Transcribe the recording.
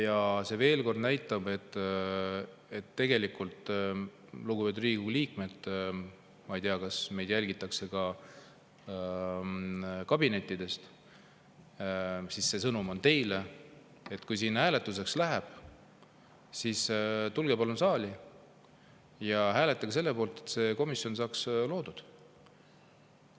Ja see ütleb tegelikult, lugupeetud Riigikogu liikmed – ma ei tea, kas meid jälgitakse ka kabinettidest, see sõnum on ka teile –, et kui siin hääletuseks läheb, siis tulge palun saali ja hääletage selle poolt, et see komisjon saaks loodud.